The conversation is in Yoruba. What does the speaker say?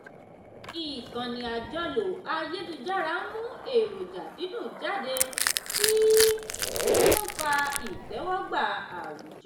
ìkànnì àjọlò ayélujára ń mú èròjà dídùn jáde tí ń fa ìtẹ́wọ́gbà àwùjọ.